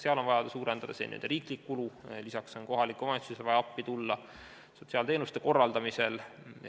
Seal on vaja suurendada riiklikku kulu, lisaks on kohalikule omavalitsusele vaja appi tulla sotsiaalteenuste korraldamisel.